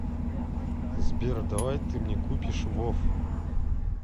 сбер давай ты мне купишь вов